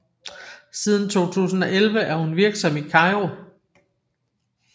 Siden 2011 er hun virksom i Kairo